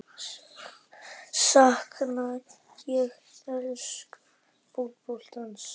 Sakna ég enska fótboltans?